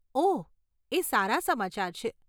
ઓહ, એ સારા સમાચાર છે.